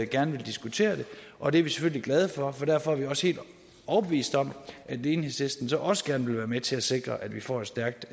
gerne vil diskutere det og det er vi selvfølgelig glade for og derfor er vi også helt overbeviste om at enhedslisten så også gerne vil være med til at sikre at vi får et stærkt